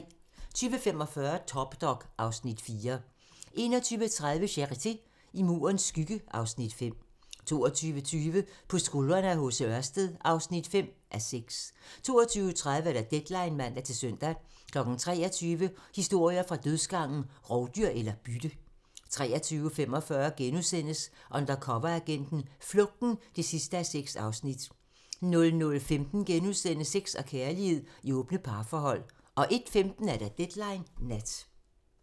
20:45: Top Dog (Afs. 4) 21:30: Charité - I Murens skygge (Afs. 5) 22:20: På skuldrene af H.C. Ørsted (5:6) 22:30: Deadline (man-søn) 23:00: Historier fra dødsgangen - Rovdyr eller bytte? 23:45: Undercoveragenten - Flugten (6:6)* 00:15: Sex og kærlighed i åbne parforhold * 01:15: Deadline Nat